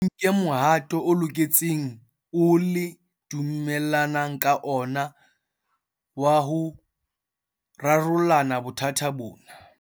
Thusa ngwanahao le nke mohato o loketseng oo le dumellanang ka ona wa ho rarolla bothata bona.